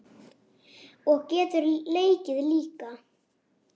Og getur leikið líka.